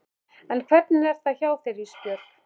En hvernig er það hjá þér Ísbjörg?